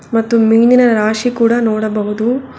ಮತ್ತು ಮೀನಿನ ರಾಶಿ ಕೂಡ ನೋಡಬಹುದು.